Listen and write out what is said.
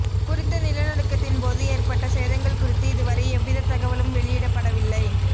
குறித்த நிலநடுக்கத்தின் போது ஏற்பட்ட சேதங்கள் குறித்து இது வரை எவ்வித தகவலும் வெளியிடப்படவில்லை